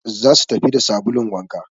za su tafi da sabulun wanka